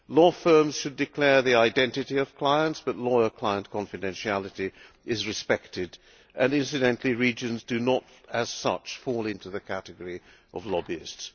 Law firms should declare the identity of clients, but lawyer client confidentiality is respected and incidentally, regions do not, as such, fall into the category of lobbyists.